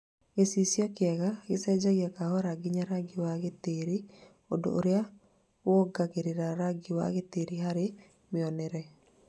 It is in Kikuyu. Gĩcicio kĩega gĩcenjagia kahora nginya rangi wa gĩtĩri ũndũ ũrĩa wongagira rangi wa gĩtĩri hari mĩonere.